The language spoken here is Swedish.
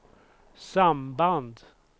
samband